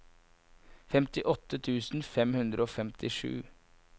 femtiåtte tusen fem hundre og femtisju